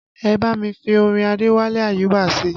Ẹ bá mi fi orin Adewale Ayuba sí i